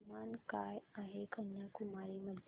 तापमान काय आहे कन्याकुमारी मध्ये